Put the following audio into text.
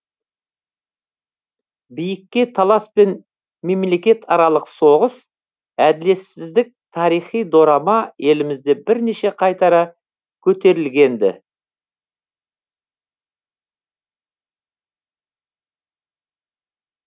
биікке талас пен мемлекетаралық соғыс әділетсіздік тарихи дорама елімізде бірнеше қайтара көрсетілген ді